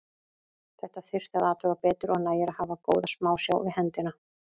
Þetta þyrfti að athuga betur og nægir að hafa góða smásjá við hendina.